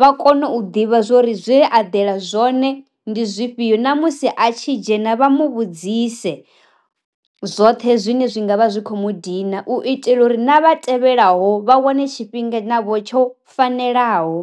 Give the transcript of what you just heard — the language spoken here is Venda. vha kone u ḓivha zwori zwe a dela zwone ndi zwifhio ṋamusi a a tshi dzhena vha mu vhudzise zwoṱhe zwine zwi ngavha zwi kho mu dina u itela uri na vha tevhelaho vha wane tshifhinga navho tsho fanelaho.